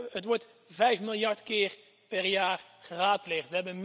Het wordt vijf miljard keer per jaar geraadpleegd.